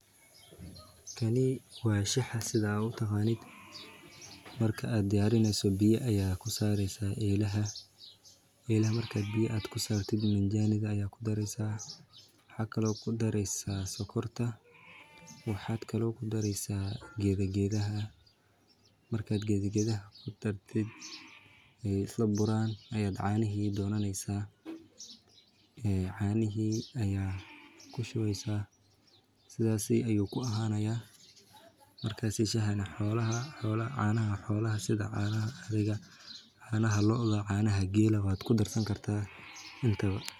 kanee wa shax sidaa u tahanid markaa aad diarinayso bia ayaa ku saaraysa eelaha. Eelaha markaad bia aad ku saartid minjanid ayaa ku dareysaa. Waxakalo ku dareysaa sokorta waxaad kaloo ku dareysaa geda geda ah. Markaad gedgedah ku tardid ya isla buraan ayaad caanihi doonanaysaa ee caanihii ayaa ku shubesa sidaasii ayuu ku ahaanaya markaasi shahana xoolaha xoola caanaha xoolaha sida caanaha ariga caanaha looga caanaha geel wad ku dartsan kartaa intaba.